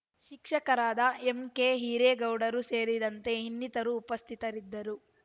ಶಿಕ್ಷಕರಾದ ಎಂಕೆ ಹಿರೇಗೌಡರ ಸೇರಿದಂತೆ ಇನ್ನಿತರರು ಉಪಸ್ಥಿತರಿದ್ದರು